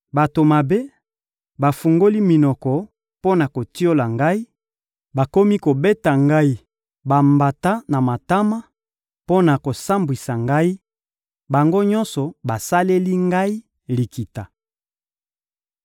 Bato mabe bafungoli minoko mpo na kotiola ngai, bakomi kobeta ngai bambata na matama mpo na kosambwisa ngai, bango nyonso basaleli ngai likita.